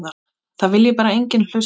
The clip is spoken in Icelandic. Það vilji bara enginn hlusta.